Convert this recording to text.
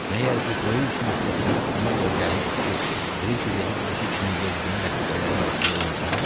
Məgər bu böyük işin öhdəsinə ona görə gəlmişdi ki, Brike gedib özü kimi yelbeyin rəfiqələrinin arasında öyünsün?